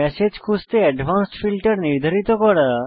message খুঁজতে advanced filter নির্ধারিত করা